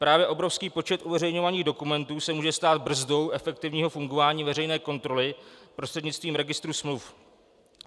Právě obrovský počet uveřejňovaných dokumentů se může stát brzdou efektivního fungování veřejné kontroly prostřednictvím registru smluv.